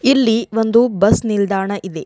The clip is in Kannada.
ಇಲ್ಲಿ ಒಂದು ಬಸ್ ನಿಲ್ದಾಣ ಇದೆ.